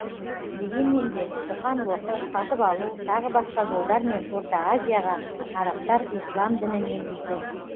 дегенмен де қоқан лоқы сатып алу тағы басқа жолдармен орта азияға арабтар ислам дінін енгізді